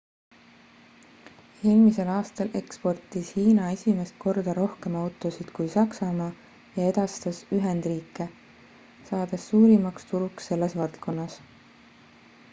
eelmisel aastal eksportis hiina esimest korda rohkem autosid kui saksamaa ja edastas ühendriike saades suurimaks turuks selles valdkonnas